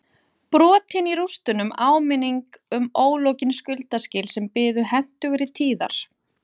Brotin í rústunum áminning um ólokin skuldaskil sem biðu hentugri tíðar